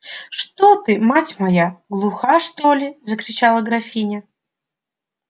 что ты мать моя глуха что ли закричала графиня